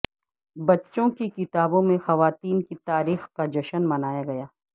بچوں کی کتابوں میں خواتین کی تاریخ کا جشن منایا گیا